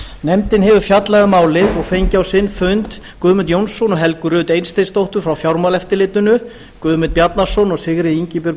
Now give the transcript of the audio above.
nefndin hefur fjallað um málið og fengið á sinn fund guðmund jónsson og helgu rut eysteinsdóttur frá fjármálaeftirlitinu guðmund bjarnason og sigríði ingibjörgu